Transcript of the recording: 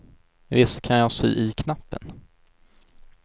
Visst kan jag sy i knappen.